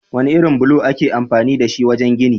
Wane irin bulo ake amfani dashi wajen gini?